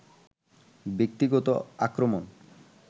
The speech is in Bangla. ব্যক্তিগত আক্রমণ